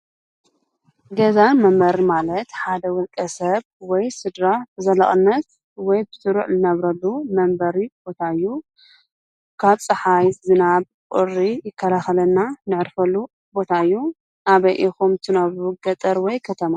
ገዛ መንበሪ ማለት ሓደ ውልቀ ሰብ ወይ ስድራ በዘላቕነት ወይ ብስሩዕ እንነብረሉ መንበሪ ቦታ እዩ። ካብ ጸሓይ፣ ዝናብ፣ ቁሪ ይከላኸለልና እነዕርፈሉ ቦታ እዩ። ኣበይ ኢኹም ትነብሩ ገጠር ወይ ከተማ?